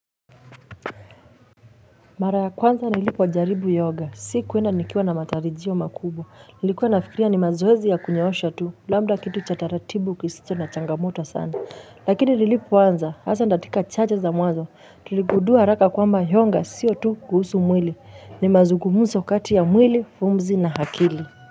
Mara ya kwanza nilipojaribu yoga, si kuenda nikiwa na matarijio makubwa, nilikuwa nafikiria ni mazoezi ya kunyoosha tu, labda kitu cha taratibu kisicho na changamoto sana, lakini nilipoanza, hasa katika chache za mwazo, tuligundua haraka kwamba yoga sio tu kuhusu mwili, ni mazugumzo kati ya mwili, pumzi na akili.